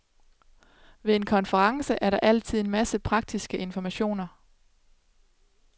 Ved en konference er der altid en masse praktiske informationer.